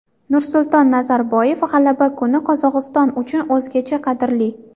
Nursulton Nazarboyev: G‘alaba kuni Qozog‘iston uchun o‘zgacha qadrli.